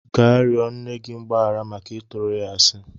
Gaa rịọ nne gị mgbaghara maka ịtụrụ ya asị!